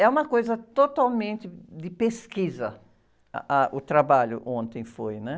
É uma coisa totalmente de pesquisa, ah, ah, o trabalho ontem foi, né?